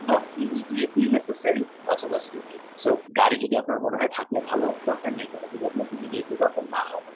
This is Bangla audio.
not really necessary গাড়ি যদি থাকলে ভালো বা immediately দরকার না হয়।